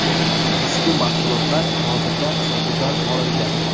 Ushbu mahsulotlar hozirda sotuvdan olingan.